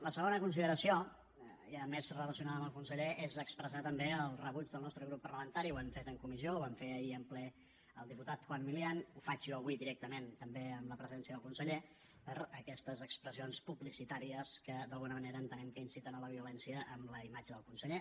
la segona consideració ja més relacionada amb el conseller és expressar també el rebuig del nostre del nostre grup parlamentari ho hem fet en comissió ho vam fer ahir en ple el diputat juan milián ho faig jo avui directament també amb la presència del conseller per aquestes expressions publicitàries que d’alguna manera entenem que inciten a la violència amb la imatge del conseller